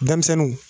Denmisɛnninw